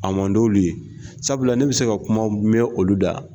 A man d'olu ye sabula ne bɛ se ka kumaw mɛn olu da